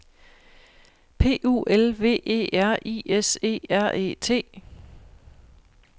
P U L V E R I S E R E T